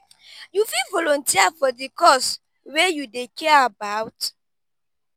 you fit volunteer for di cause wey you dey care about?